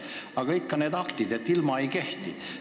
Aga ikkagi need aktid, ilma milleta seadus nagu ei kehti.